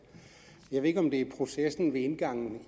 jeg ved ikke om det er processen ved indgangen